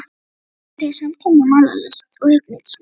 Í vor verður hér samkeppni í málaralist og höggmyndalist.